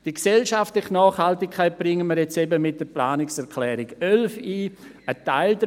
Die gesellschaftliche Nachhaltigkeit bringen wir jetzt eben mit der Planungserklärung 11 ein.